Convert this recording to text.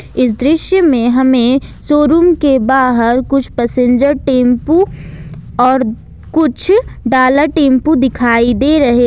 इस दृश्य में हमें शोरूम के बाहर कुछ पैसेंजर टेंपू और कुछ डाला टेंपू दिखाई दे रहे।